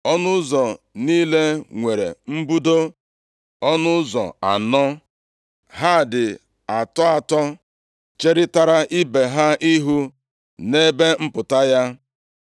Ọnụ ụzọ niile nwere mbudo ọnụ ụzọ anọ. Ha dị atọ atọ cherịtara ibe ha ihu nʼebe mpụta ya.